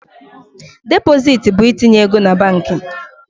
Depositi bụ itinye ego na banki.